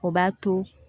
O b'a to